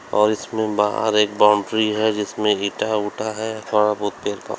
और इसमें बाहर एक बाउंड्री है जिसमें ईटा उठा है वहां बहुत देर का--